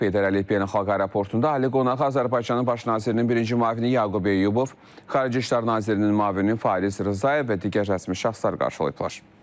Heydər Əliyev Beynəlxalq Aeroportunda ali qonağı Azərbaycanın Baş nazirinin birinci müavini Yaqub Eyyubov, Xarici İşlər nazirinin müavini Fariz Rzayev və digər rəsmi şəxslər qarşılayıblar.